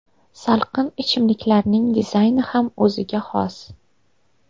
Salqin ichimliklarning dizayni ham o‘ziga xos.